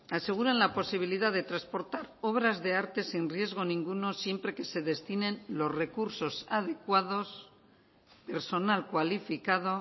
aseguran la posibilidad de transportar obras de arte sin riesgo ninguno siempre que se destinen los recursos adecuados personal cualificado